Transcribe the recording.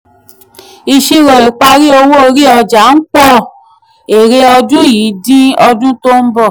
ìṣirò ìparí owó orí ọjà ń pọ̀ èrè ọdún yìí dín ọdún tó ń bọ̀.